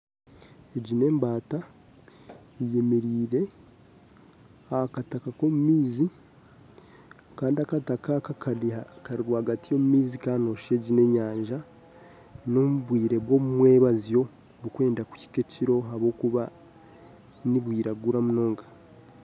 Egi n'embaata eyemereire ahakataka k'omumaizi kandi akataka aka kari rwagati omumaizi kandi noshuusha egi n'enyanja n'obwire bw'omumwabazyo burikwenda kuhika ekiro ahabw'okuba nibwiraguura munonga